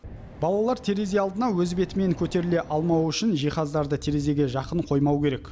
балалар терезе алдына өз бетімен көтеріле алмауы үшін жиһаздарды терезеге жақын қоймау керек